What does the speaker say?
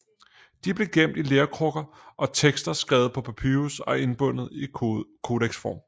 De blev gemt i lerkrukker og tekster skrevet på papyrus og indbundet i kodeksform